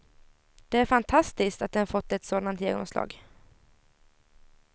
Det är fantastiskt att den fått ett sådant genomslag.